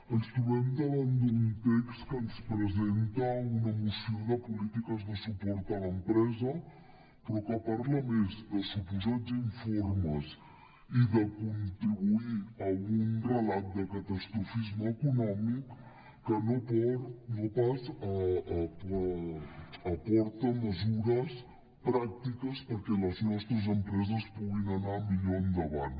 ens trobem davant d’un text que ens presenta una moció de polítiques de suport a l’empresa però que parla més de suposats informes i de contribuir a un relat de catastrofisme econòmic que no pas aporta mesures pràctiques perquè les nostres empreses puguin anar millor endavant